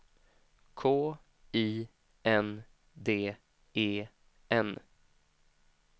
K I N D E N